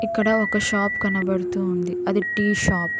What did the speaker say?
ఇక్కడ ఒక షాప్ కనబడుతుంది అది టీ షాప్ .